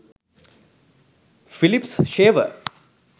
philips shaver